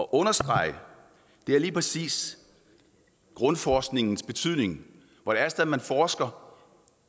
understrege lige præcis grundforskningens betydning altså at man forsker